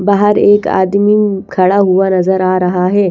बाहर एक आदमी खड़ा हुआ नजर आ रहा है।